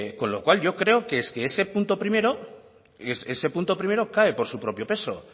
con lo cual yo creo que es que ese punto primero cae por su propio peso